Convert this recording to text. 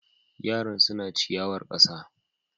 Yaran suna ciyawar ƙasa.